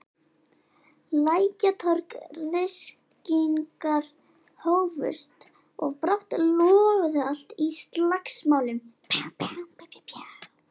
Lækjartorg, ryskingar hófust og brátt logaði allt í slagsmálum.